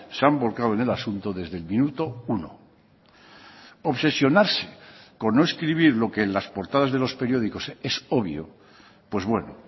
se han volcado en el asunto desde el minuto uno obsesionarse con no escribir lo que en las portadas de los periódicos es obvio pues bueno